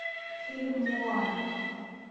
фильм моана